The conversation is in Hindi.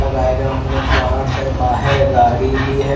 लगाये गये प्लांट्स है बहार गाडी भी है।